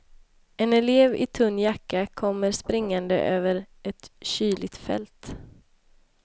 En elev i tunn jacka kommer springande över ett kyligt fält.